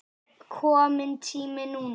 Er kominn tími núna?